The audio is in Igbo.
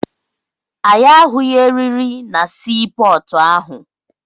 Anyị ahụghị erịrị na sii pọọtụ ahụ.